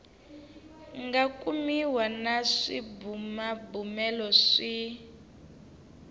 nga kumiwa na swibumabumelo swi